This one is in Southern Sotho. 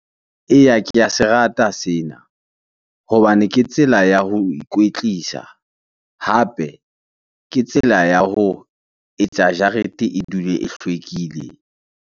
Eya, ke a se rata sena hobane ke tsela ya ho ikwetlisa hape ke tsela ya ho etsa jarete e dule e hlwekile.